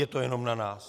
Je to jenom na nás.